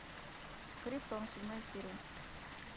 криптон седьмая серия